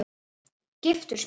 Giftur? spurði hann.